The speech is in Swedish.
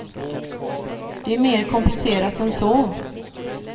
Det är mer komplicerat än så.